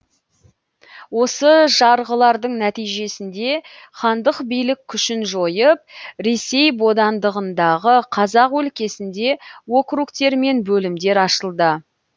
осы жарғылардың нәтижесінде хандық билік күшін жойып ресей бодандығындағы қазақ өлкесіңде округтер мен бөлімдер ашылды